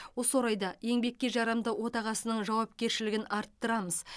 осы орайда еңбекке жарамды отағасының жауапкершілігін арттырамыз